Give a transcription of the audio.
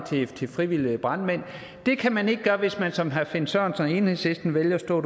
til frivillige brandmænd og det kan man ikke gøre hvis man som herre finn sørensen og enhedslisten vælger at stå